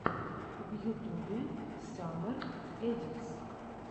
в ютубе саммер эдитс